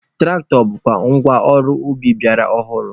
Tụraktọ bụkwa ngwa ọrụ ubi ọgbara ọhụrụ.